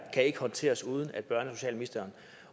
kan håndteres uden at børne og socialministeren